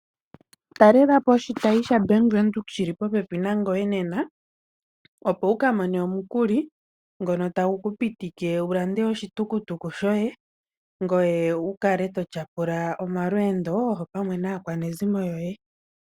Talelapo oshitayi shaBank Windhoek shili popepi nangoye nena. Opo wuka mone omukuli ngono tagu ku pitike wulande oshitukutuku shoye ngoye wukale totyapula omalweendo opamwe naakwanezimo yoye.